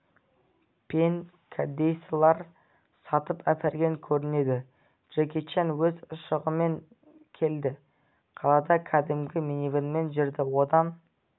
пен кәдесыйлар сатып әперген көрінеді джеки чан өз ұшағымен келді қалада кәдімгі минивэнмен жүрді одан